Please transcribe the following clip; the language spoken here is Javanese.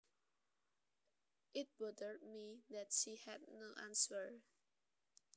It bothered me that she had no answers